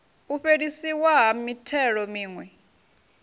u fhelisiwa ha mithelo miwe